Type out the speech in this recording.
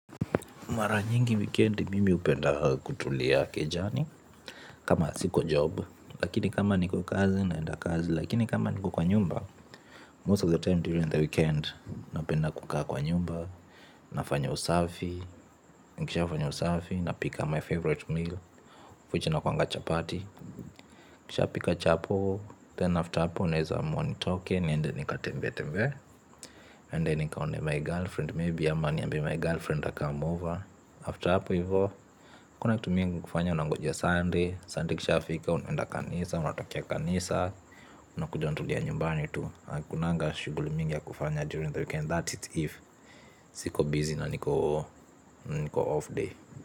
Mara nyingi weekend mimi hupenda kutulia kejani. Kama siko job lakini kama niko kazi naenda kazi lakini kama niko kwa nyumba Most of the time during the weekend napenda kukaa kwa nyumba. Nafanya usafi, nikisha fanya usafi napika my favorite meal of which inakuanga chapati. Nikishapika chapo, then after hapo naeza amua nitoke niende nikatembee tembee, niende nikaone my girlfriend maybe ama niambie my girlfriend acome over, after hapo hivo hakuna kitu ingine kufanya, nangoja sunday, Sunday ikishafika unenda kanisa unatokea kanisa, unakuja unatulia nyumbani tu. Hakunanga shughuli mingi ya kufanya during the weekend. That is if siko busy na niko off day.